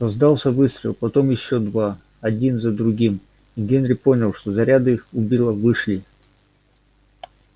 раздался выстрел потом ещё два один за другим и генри понял что заряды у билла вышли